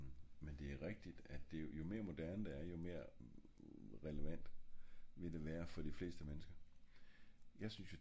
men men det er rigtigt jo mere moderne det er jo mere relevant vil det være for de fleste mennesker